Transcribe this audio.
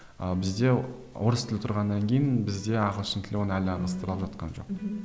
ы бізде орыс тілі тұрғаннан кейін бізде ағылшын тілі оны әлі алмастыра алып жатқан жоқ